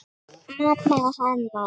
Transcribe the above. Mamma hennar.